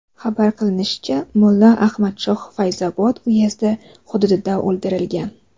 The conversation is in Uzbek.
Xabar qilinishicha, mulla Ahmadshoh Fayzobod uyezdi hududida o‘ldirilgan.